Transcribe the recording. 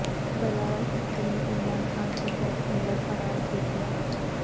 بلاول بھٹو نے عمران خان کو blackmailer قرار دے دیا